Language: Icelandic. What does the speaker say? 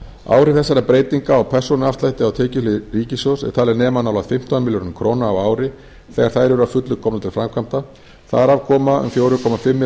áhrif þessara breytinga á persónuafslætti á tekjuhlið ríkissjóðs er talin nema nálægt fimmtán milljörðum króna á ári þegar þær eru að fullu komnar til framkvæmda þar af koma um fjóra komma fimm